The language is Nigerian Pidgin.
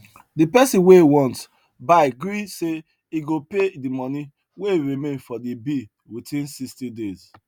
the person wey e want buy gree say him go pay the money wey remain for the bill within sixty days